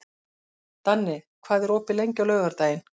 Danni, hvað er opið lengi á laugardaginn?